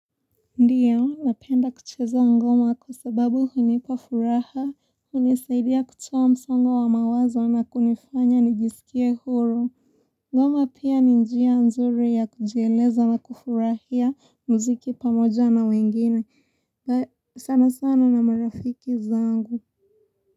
Ndiyo, napenda kucheza ngoma kwa sababu hunipa furaha, hunisaidia kutoa msongo wa mawazo na kunifanya nijisikie huru. Ngoma pia ni njia nzuri ya kujieleza na kufurahia mziki pamoja na wengine. Sana sana na marafiki zangu.